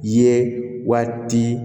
Ye waati